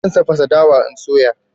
Zan tafasa dawa in soya shi